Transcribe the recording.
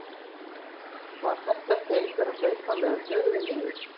Var þetta ekki einhver að hlaupa með höfuðið niður?